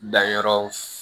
Danyɔrɔ